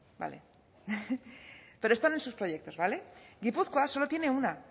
vale pero están en sus proyectos vale guipúzcoa solo tiene una